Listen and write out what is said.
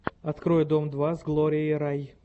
открой дом два с глорией рай